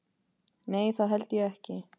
Nei það held ég ekki.